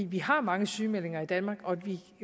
vi har mange sygemeldinger i danmark og